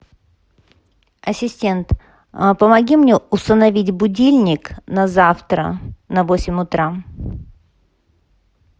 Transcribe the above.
ассистент помоги мне установить будильник на завтра на восемь утра